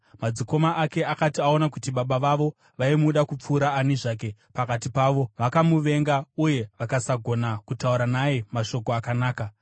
Madzikoma ake akati aona kuti baba vavo vaimuda kupfuura ani zvake pakati pavo, vakamuvenga uye vakasagona kutaura naye mashoko akanaka.